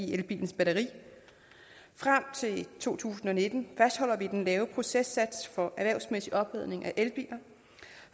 i elbilens batteri frem til to tusind og nitten fastholder vi den lave processats for erhvervsmæssig opladning af elbiler